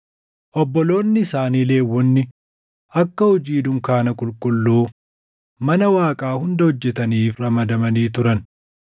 Obboloonni isaanii Lewwonni akka hojii dunkaana qulqulluu mana Waaqaa hunda hojjetaniif ramadamanii turan.